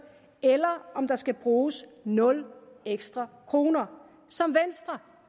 eller om der skal bruges nul ekstra kroner som venstre